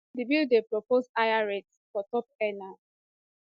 di bill dey propose higher rates for top earners